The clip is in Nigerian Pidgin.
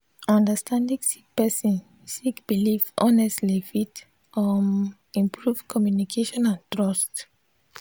understanding sik person sik biliv honestly fit um improve communication and trust.